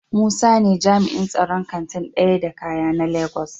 Musa ne jami'in tsaron Kantin daya da kaya na Lagos.